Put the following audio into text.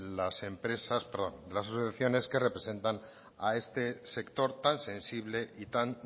las asociaciones que representan a este sector tan sensible y tan